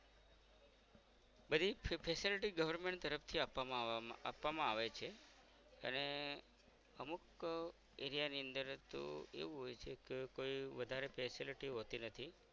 બધી facility government તરફ થી આપવામાં આપવામાં આવે છે અને અમુક area ની અંદર તો એવું હોય છે કે કોઈ વધારે facility હોતી નથી